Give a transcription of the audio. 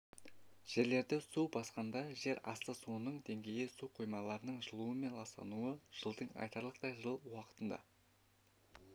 жерлерді су басқанда жер асты суының деңгейі су қоймаларының жылуымен ластануы жылдың айтарлықтай жылы уақытында